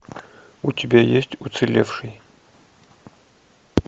у тебя есть уцелевший